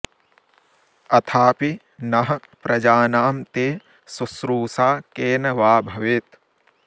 अथापि नः प्रजानां ते शुश्रूषा केन वा भवेत्